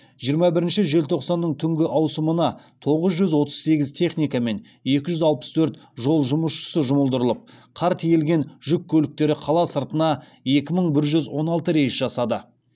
жиырма бірінші желтоқсанның түнгі ауысымына тоғыз жүз отыз сегіз техника мен екі жүз алпыс төрт жол жұмысшысы жұмылдырылып қар тиелген жүк көліктері қала сыртына екі мың бір жүз он алты рейс жасады